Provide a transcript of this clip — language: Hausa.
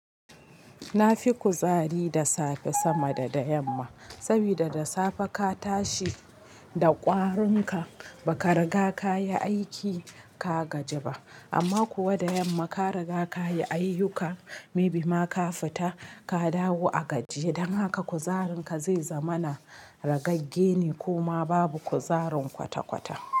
Na fi kuzari da safe sama da da yamma, saboda da safe ka tashi da ƙwarunka baka riga ka yi aiki ka gaji ba amma kuwa da yamma ka riga ka yi ayyukka maybe ma ka fita ka dawo a gajiye, dan haka kuzarin ka zai zama na ragagge ne koma babu kuzarin kwata-kwata.